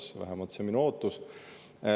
See on vähemalt minu ootus.